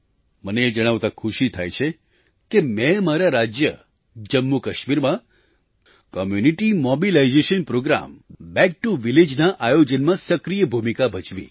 મને એ જણાવતાં ખુશી થાય છે કે મેં મારા રાજ્ય જમ્મુકાશ્મીરમાં કોમ્યુનિટી મોબિલાઇઝેશન પ્રોગ્રામે બેક ટીઓ વિલેજ ના આયોજનમાં સક્રિય ભૂમિકા ભજવી